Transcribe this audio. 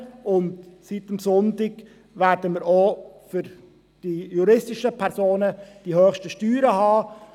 Und seit diesem Sonntag werden wir auch für die juristischen Personen die höchsten Steuern haben.